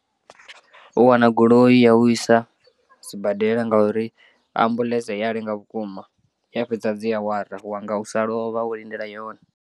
U wana goloi ya u isa sibadela nga uri ambuḽentse i ya lenga vhukuma i ya fhedza dzi awara u wanga u sa lovha wo lindela yone.